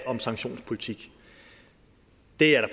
om sanktionspolitik det er der